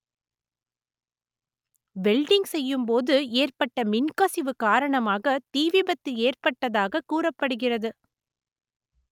welding செய்யும் போது ஏற்பட்ட மின்கசிவு காரணமாக தீ விபத்து ஏற்பட்டதாக கூறப்படுகிறது